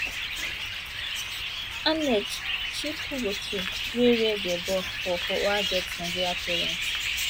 annette echikunwoke wey wey dem born for ohio get nigerian parents